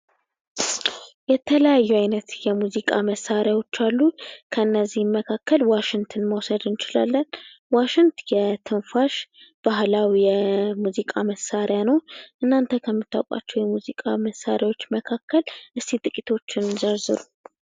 የተለያዩ አይነት የሙዚቃ መሳሪያዎች አሉ እነዚህም ከነዚህም መካከል ዋሽንትን ማሰብ እንችላለን ዋሽንት የትንፋሽ ባህላዊ የሙዚቃ መሣሪያ ነው እናንተ ከምታውቋቸው የሙዚቃ መሳሪያዎች መካከል ጥቂቶችን ጥቀስ?